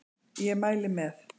Ég mæli með